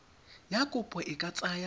ya kopo e ka tsaya